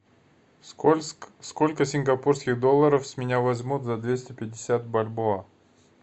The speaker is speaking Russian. сколько сингапурских долларов с меня возьмут за двести пятьдесят бальбоа